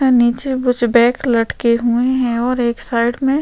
अ नीचे कुछ बैग लटके हुए है।